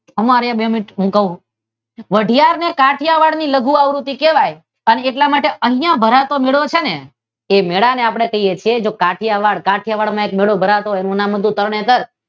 ઊભા રે બે મિનિટ કહું કાઠીયાવાડ ની લઘુ આવૃતી કહેવાય એટલા માટે અહિયાં ભરાતો મેળો છે ને તે મેળાને આપદે કહીયે છીયે કાઠીયાવાડ માં જો મેળો ભરાતો તેનું નામ હતું તરણેતર